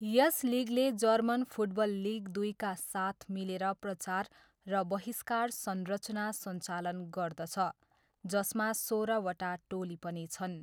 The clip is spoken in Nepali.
यस लिगले जर्मन फुटबल लिग दुईका साथ मिलेर प्रचार र बहिष्कार संरचना सञ्चालन गर्दछ, जसमा सोह्रवटा टोली पनि छन्।